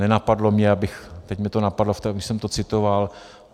Nenapadlo mě, abych - teď mě to napadlo, když jsem to citoval.